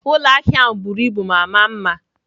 Ụlọ ahịa ahụ buru ibu ma maa mma.